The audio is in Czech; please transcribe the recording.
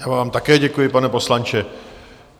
Já vám také děkuji, pane poslanče.